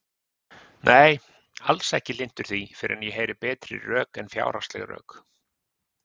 Nei, alls ekki hlynntur því fyrr en ég heyri betri rök en fjárhagsleg rök.